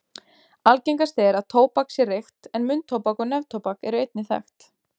Algengast er að tóbak sé reykt en munntóbak og neftóbak eru einnig þekkt.